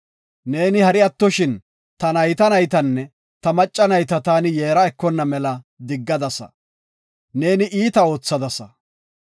Neeni hari attoshin, ta nayta naytanne ta macca nayta taani yeera ekona mela diggadasa. Neeni iita oothadasa.